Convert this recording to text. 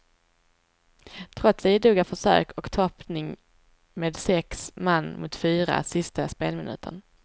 Trots idoga försök och toppning med sex man mot fyra sista spelminuten.